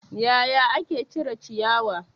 Yaya ake cire ciyawa?